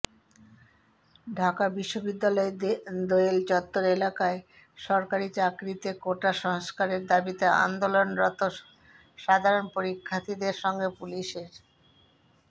ঢাকা বিশ্ববিদ্যালয়ের দোয়েল চত্বর এলাকায় সরকারি চাকরিতে কোটা সংস্কারের দাবিতে আন্দোলনরত সাধারণ শিক্ষার্থীদের সঙ্গে পুলিশের